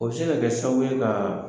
U bɛ se ka kɛ sabu ka